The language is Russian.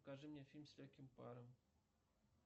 покажи мне фильм с легким паром